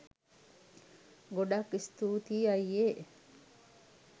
ගොඩක් ස්තූතියි අයියේ